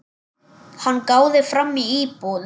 Hann gáði fram í búð.